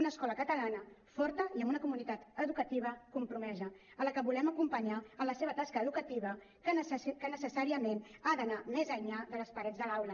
una escola catalana forta i amb una comunitat educativa compromesa a la qual volem acompanyar en la seva tasca educativa que necessàriament ha d’anar més enllà de les parets de l’aula